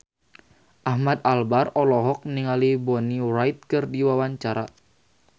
Ahmad Albar olohok ningali Bonnie Wright keur diwawancara